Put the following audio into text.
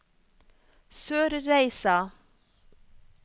Sørreisa